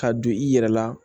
Ka don i yɛrɛ la